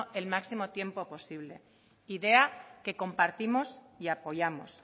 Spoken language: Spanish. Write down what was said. el máximo tiempo posible idea que compartimos y apoyamos